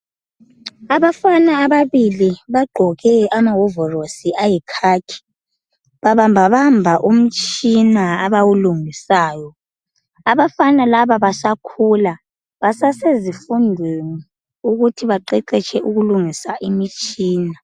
Abafana ababili bagqoke amawovorosi ayikhakhi. Babamba bamba umtshina abawulungisayo. Abafana laba basakhula, basasezifundweni ukuthi baqeqetshe ukulungisa imitshina.